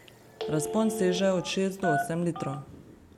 Razpon seže od šest do osem litrov.